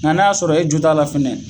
Nga n'a y'a sɔrɔ e jo t'a la fɛnɛ